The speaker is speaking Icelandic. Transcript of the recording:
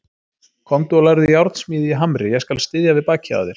Komdu og lærðu járnsmíði í Hamri, ég skal styðja við bakið á þér.